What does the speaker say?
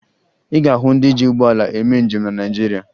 Ị ga-ahụ ndị ji ụgbọala eme njem na Naịjirịa